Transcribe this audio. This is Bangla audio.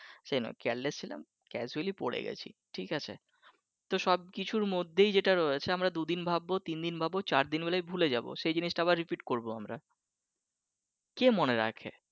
সে নয় careless ছিলাম casually পড়ে গেছি ঠিক আছে তো সব কিছুর মধ্যেই যেটা রয়েছে আমরা দুই দিন ভাববো তিনদিন ভাববো চারদিন হলে ভুলে যাবো সেই জিনিসটা আবার repeat করবো কে মনে রাখবে।